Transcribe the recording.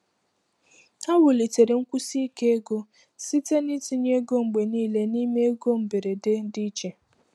Ha wulitere nkwụsi ike ego site n’itinye ego mgbe niile n’ime ego mberede dị iche.